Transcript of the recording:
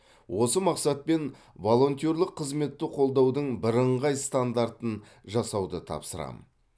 осы мақсатпен волонтерлік қызметті қолдаудың бірыңғай стандартын жасауды тапсырамын